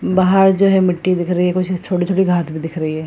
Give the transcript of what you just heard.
बाहर जो है मिट्टी दिख रही है और कुछ छोटी-छोटी घास भी दिख रही है ।